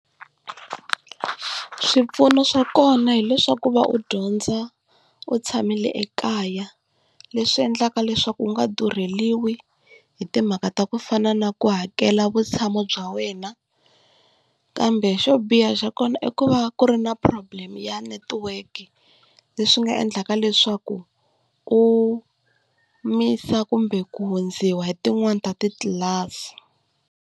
Swipfuno swa kona hileswaku va u dyondza u tshamile ekaya, leswi endlaka leswaku u nga durheliwi hi timhaka ta ku fana na ku hakela vutshamo bya wena. Kambe xo biha xa kona i ku va ku ri na problem ya network, leswi nga endlaka leswaku u miss-a kumbe ku hundziwa hi tin'wani ta titlilasi.